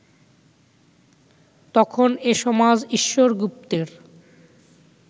তখন এ সমাজ ঈশ্বর গুপ্তের